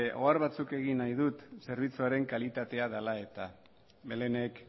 ohar batzuk egin nahi ditut zerbitzuaren kalitatea dela eta belenek